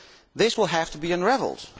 This will have to be unravelled.